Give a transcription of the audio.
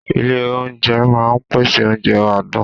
Ilé oúnjẹ máa ń pèsè oúnjẹ adùn